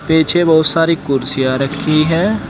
पीछे बहुत सारी कुर्सियां रखी है।